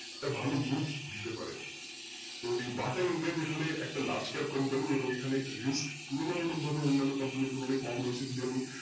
একটা ভালো দিতে পারে তো এই বাটা India একটা large cap company এবং এখানে risk তুলনামূলকভাবে অন্যান্য company র তুলনায় কম রয়েছে